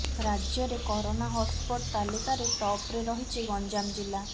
ରାଜ୍ୟରେ corona hotspot ତାଲିକାରେ ଟପ୍ରେ ରହିଛି ଗଞ୍ଜାମ ଜିଲ୍ଲା